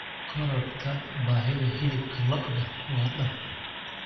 Korodhka baahida hilibka lo'da waa dhab.